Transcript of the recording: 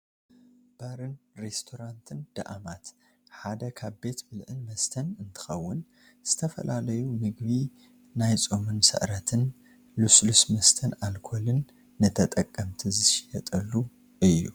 ባርን ሪስቶራንትን ዳኣማት ሓደ ካብ ቤት ብልዕን መስተን እንትከውን ዝተፈላለዩ ምግቢ ናይ ፆምን ስዕረትን ልስሉስ መስተን ኣልኮልን ንተጠቀምቲ ዝሽየጠሉ እዩ።